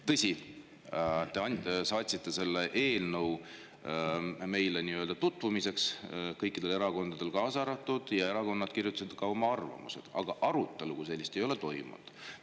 Tõsi, te saatsite selle eelnõu tutvumiseks meile ja kõikidele erakondadele ja erakonnad kirjutasid ka oma arvamused, aga arutelu kui sellist ei ole toimunud.